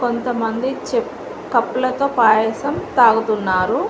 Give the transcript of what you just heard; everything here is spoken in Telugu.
కొంతమంది చెప్ కప్పులతో పాయసం తాగుతున్నారు.